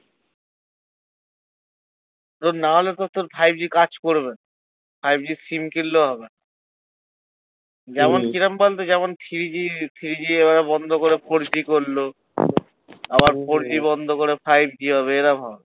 তোর নাহলে তো তোর five g কাজ করবে না five g র সিম কিনলেও হবে না যেমন কিরম বলতো যেমন three g three g ওরা বন্ধ করে four g করলো আবার four g বন্ধ করে five g হবে এরাম হবে।